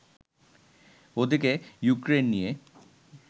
ওদিকে ইউক্রেন নিয়ে